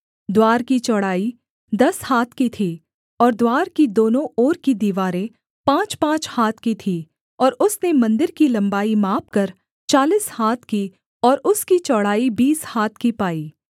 द्वार की चौड़ाई दस हाथ की थी और द्वार की दोनों ओर की दीवारें पाँचपाँच हाथ की थीं और उसने मन्दिर की लम्बाई मापकर चालीस हाथ की और उसकी चौड़ाई बीस हाथ की पाई